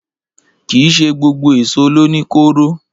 Kìí ṣé gbogbo èsó lo ní kóró.